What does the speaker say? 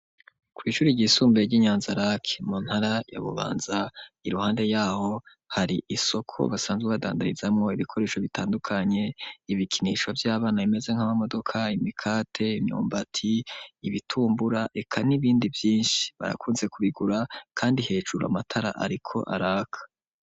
Kw'ishuri ryisumbuye ry'i Nyanzarake mu ntara ya Bubanza iruhande yaho hari isoko basanzwe badandarizamwo ibikoresho bitandukanye, ibikinishwa vy'abana bimeze nk'amamodoka, imikate, imyumbati, ibitumbura, eka n'ibindi vyinshi, barakunze kubigura kandi hejuru amatara ariko araka.